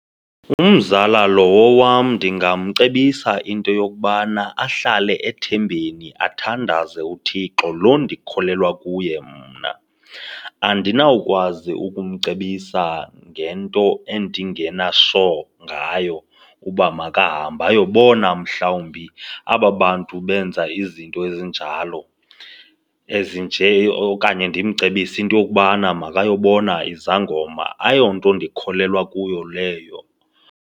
Umzala lowo wam ndingamcebisa into yokubana ahlale ethembeni, athandaze uThixo lo ndikholelwa kuye mna. Andinawukwazi ukumcebisa ngento endingena sure ngayo uba makahambe ayobona mhlawumbi aba bantu benza izinto ezinjalo ezinje okanye ndimcebise into yokubana makayobona izangoma. Ayonto ndikholelwa kuyo leyo.